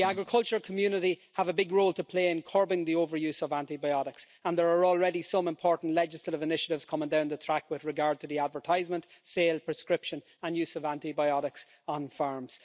The agricultural community has a big role to play in curbing the overuse of antibiotics, and there are already some important legislative initiatives coming down the track with regard to the advertisement, sale and prescription and use of antibiotics on farms.